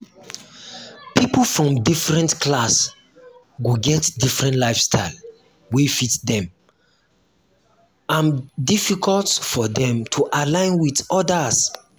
pipo from different class go get different lifestyle wey fit make am difficult for dem to align with odas